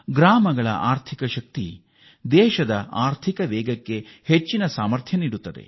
ಗ್ರಾಮಗಳ ಆರ್ಥಿಕ ಶಕ್ತಿ ದೇಶದ ಆರ್ಥಿಕ ಪ್ರಗತಿಗೆ ಚಾಲನೆ ನೀಡುತ್ತದೆ